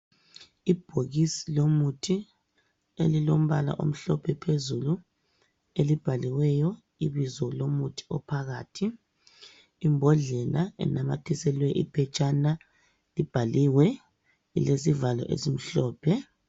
Ibhokisi lomuthi elilombala omhlophe phezulu elibhaliweyo ibizo lomuthi ophakathi. Imbodlela enanyathiselwe iphetshana ibhaliwe ilesivalo esimhlophe.